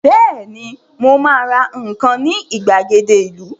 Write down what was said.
Bẹ́ẹ̀ni, mo ma ra nǹkan ní ìgbàgede ìlú